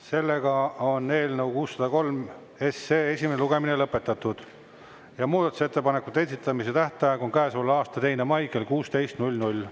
Sellega on eelnõu 603 esimene lugemine lõpetatud ja muudatusettepanekute esitamise tähtaeg on käesoleva aasta 2. mai kell 16.00.